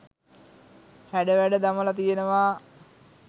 හැඩ වැඩ දමලා තියෙනවා.